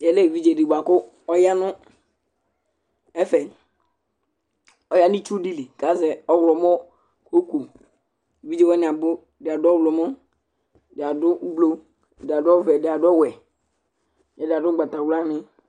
Ya nu evidze di bʋa ku ɔya nu ɛfɛ , ɔya nu itsu di li ku azɛ ɔwlɔmɔ oku, evidze wʋni abu, ɛdi adu ɔwlumɔ, ɛdi adu ublu, ɛdi adu ɔvɛ, ɛdi adu ɔwɛ, ɛdi adu ugbata wla ni